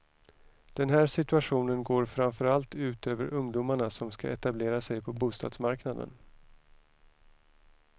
Den här situationen går framför allt ut över ungdomarna som ska etablera sig på bostadsmarknaden.